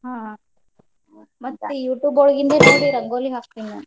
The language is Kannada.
ಹ್ಮ್ YouTube ಒಳಗಿಂದ್ ನೋಡಿ ರಂಗೋಲಿ ಹಾಕ್ತೇನಿ ನಾನು. .